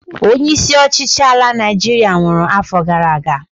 Onye isi ọchịchị ala Naịjiria nwụrụ afọ gara aga